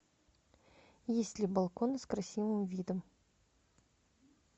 есть ли балкон с красивым видом